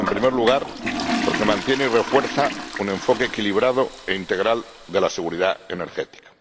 En primer lugar, porque mantiene y refuerza un enfoque equilibrado e integral de la seguridad energética.